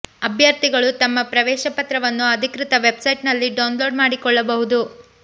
ಅಭ್ಯರ್ಥಿಗಳು ತಮ್ಮ ಪ್ರವೇಶ ಪತ್ರವನ್ನು ಅಧಿಕೃತ ವೆಬ್ ಸೈಟ್ನಲ್ಲಿ ಡೌನ್ ಲೋಡ್ ಮಾಡಿಕೊಳ್ಳಬಹುದು